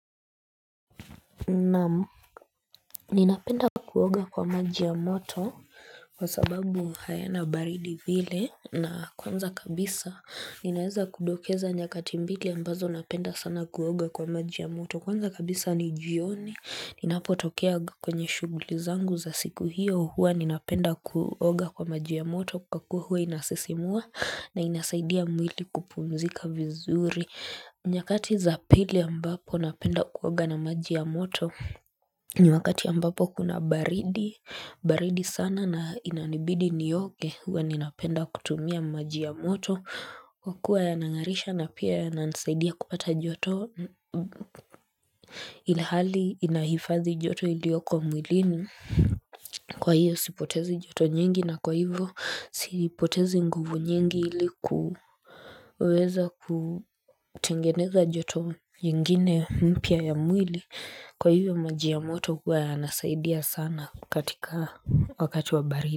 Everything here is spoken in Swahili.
Naam ninapenda kuoga kwa maji ya moto Kwa sababu hayana baridi vile na kwanza kabisa Ninaeza kudokeza nyakati mbili ambazo napenda sana kuoga kwa maji ya moto Kwanza kabisa ni jioni Ninapotokea kwenye shughuli zangu za siku hiyo huwa Ninapenda kuoga kwa maji ya moto kwa kuwa huwa inasisimua na inasaidia mwili kupumzika vizuri nyakati za pili ambapo napenda kuoga na maji ya moto ni wakati ambapo kuna baridi, baridi sana na inanibidi nioge Huwa ninapenda kutumia maji ya moto Kwa kuwa yanangarisha na pia yananisaidia kupata joto Ilhali inahifadhi joto ilioko mwilini Kwa hiyo sipotezi joto nyingi na kwa hivyo sipotezi nguvu nyingi ili kuweza kutengeneza joto nyingine mpya ya mwili Kwa hivyo maji ya moto huwa yanasaidia sana katika wakati wa baridi.